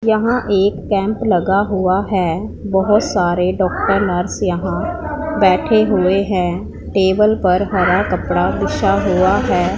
यहां एक कैंप लगा हुआ है बहोत सारे डॉक्टर नर्स यहां बैठे हुए हैं टेबल पर हरा कपड़ा बिछा हुआ है।